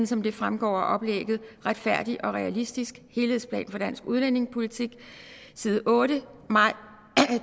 som det fremgår af oplægget retfærdig og realistisk helhedsplan for dansk udlændingepolitik side otte maj